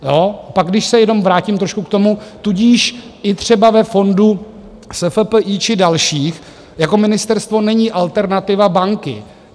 Pak když se jenom vrátím trošku k tomu, tudíž i třeba ve fondu SFPI či dalších jako ministerstvo není alternativa banky.